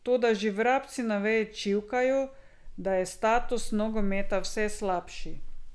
Toda že vrabci na veji čivkajo, da je status nogometa vse slabši.